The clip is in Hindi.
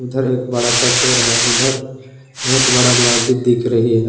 इधर एक बड़ा सा पेड़ है उधर बहुत बड़ा मस्जिद दिख रही है।